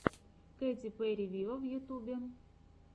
кэти перри виво в ютюбе